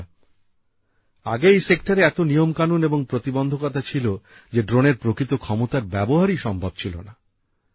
বন্ধুরা আগে এই ক্ষেত্রে এত নিয়ম কানুন ও প্রতিবন্ধকতা ছিল যে ড্রোনের প্রকৃত ক্ষমতার ব্যবহারই সম্ভব ছিল না